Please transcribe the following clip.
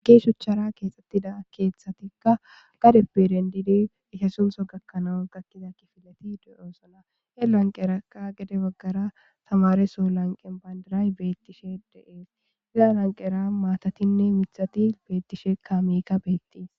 gee shuchchara keexxettida keeththatikka gadep pirendidi itha suntso gakkanawan gakkiza kifilati de7oosona e lanqerakka gede baggara tamareso lanqen bayndaray beettishe de7ees iza lanqera maatatinne mithati beettishe kamika beettiis.